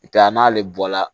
I ka n'ale bɔ la